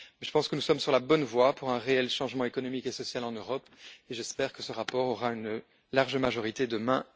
Mais je pense que nous sommes sur la bonne voie pour un réel changement économique et social en Europe et j'espère que ce rapport aura une large majorité demain.